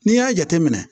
N'i y'a jateminɛ